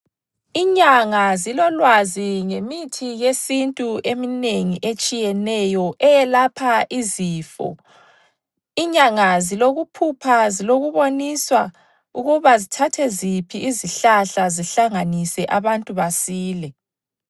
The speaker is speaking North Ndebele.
Inyanga zilolwazi ngemithi yesintu eminengi etshiyeneyo eyelapha izifo. Inyanga zilokuphupha, zilokuboniswa ukuba zithathe ziphi izihlahla zihlanganise abantu basile.